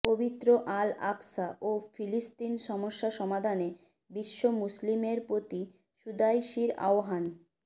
পবিত্র Al Aqsa ও ফিলিস্তিন সমস্যা সমাধানে বিশ্ব মুসলিমের প্রতি সুদাইসির আহ্বান